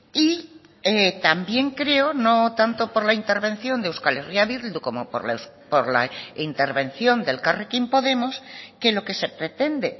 y también creo no tanto por la intervención de euskal herria bildu como por la intervención de elkarrekin podemos que lo que se pretende